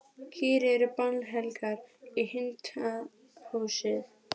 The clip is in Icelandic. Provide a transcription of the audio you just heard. Kýr eru bannhelgar í hindúasið.